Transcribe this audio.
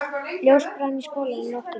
Ljós brann í skálanum um nóttina.